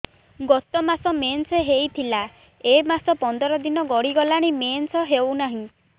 ଗତ ମାସ ମେନ୍ସ ହେଇଥିଲା ଏ ମାସ ପନ୍ଦର ଦିନ ଗଡିଗଲାଣି ମେନ୍ସ ହେଉନାହିଁ